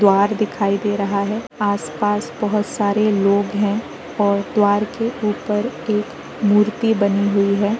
द्वार दिखाई दे रहा है। आस-पास बहुत सारे लोग हैं और द्वार के उपर एक मूर्ति बनी हुई है।